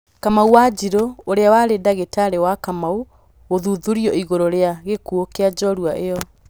Kamau Wanjiru: ũrĩa warĩ ndagĩtarĩ wa Kamau gũthuthurio ĩgũrũ rĩa gĩkuũ kĩa njorua ĩyo.